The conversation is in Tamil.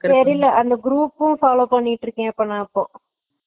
தெரியில இப்ப அந்த group பும் follow பண்ணிட்டு இருக்கே இப்ப நா இப்போ